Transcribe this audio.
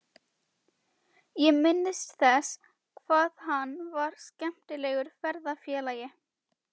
Ég minnist þess hvað hann var skemmtilegur ferðafélagi.